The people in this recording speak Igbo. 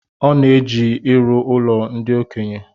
Ọ na-eji irụ ụlo ndi okenye